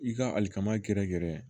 I ka alikama gɛrɛ gɛrɛ